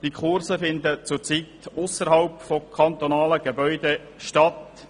Diese Kurse finden zurzeit ausserhalb von kantonalen Gebäuden statt.